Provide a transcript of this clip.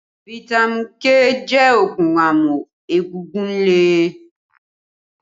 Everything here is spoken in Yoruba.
Fitami K jẹ́ oogun amu egungun lè